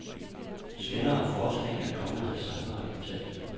Senere forskning er kommet til samme resultat.